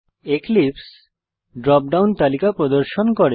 এক্লিপসে drop down তালিকা প্রদর্শন করে